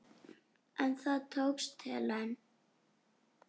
En það tókst Helen.